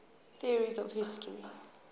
theories of history